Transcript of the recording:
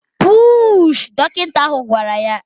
Puuuuuushị! Dọkịta ahụ gwara ya